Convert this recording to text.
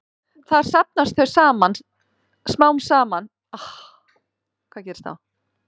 Þar safnast þau smám saman fyrir í vefjum enda er helmingunartími efnanna mjög langur.